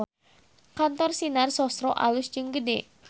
Kantor Sinar Sosro alus jeung gede